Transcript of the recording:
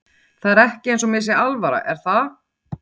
Það er ekki eins og mér sé alvara er það?